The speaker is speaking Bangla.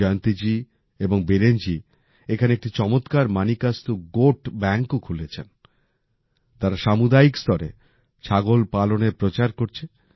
জয়ন্তী জি এবং বীরেন জি এখানে একটি চমৎকার মানিকাস্তু গোট ব্যাঙ্কও খুলেছেন। তাঁরা সামুদায়িক স্তরে ছাগল পালনের প্রচার করছে